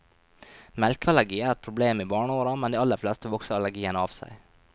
Melkeallergi er et problem i barneåra, men de aller fleste vokser allergien av seg.